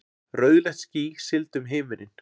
Rauðleitt ský sigldi um himininn.